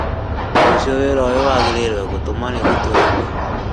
Rũciũ wĩra ũyũ wagĩrĩrwo gũtũmwo nĩguo tũrĩhwo